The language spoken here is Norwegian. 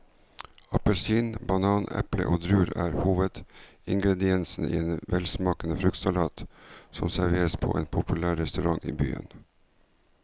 Appelsin, banan, eple og druer er hovedingredienser i en velsmakende fruktsalat som serveres på en populær restaurant i byen.